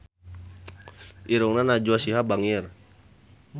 Irungna Najwa Shihab bangir